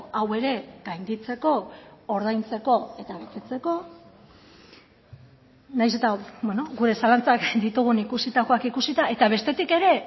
hau ere gainditzeko ordaintzeko eta betetzeko nahiz eta gure zalantzak ditugun ikusitakoak ikusita eta bestetik ere